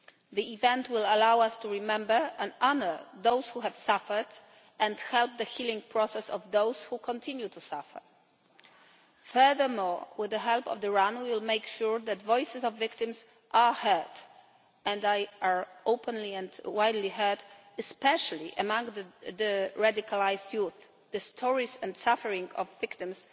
The event will allow us to remember and honour those who have suffered and help the healing process of those who continue to suffer. Furthermore, with the help of the RAN we will make sure that the voices of the victims are heard and are openly and widely heard, especially among radicalised youth, as the stories and suffering of victims